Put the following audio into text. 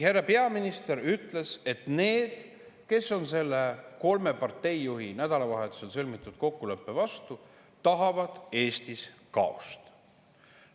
Härra peaminister ütles, et need, kes on selle nädalavahetusel kolme parteijuhi sõlmitud kokkuleppe vastu, tahavad Eestis kaost.